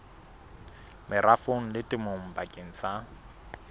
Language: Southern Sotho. merafong le temong bakeng sa